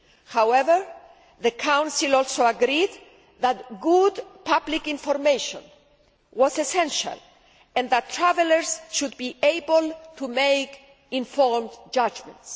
However, the Council also agreed that good public information was essential and that travellers should be able to make informed judgements.